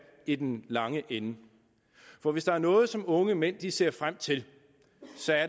i den lange ende for hvis der er noget som unge mænd ser frem til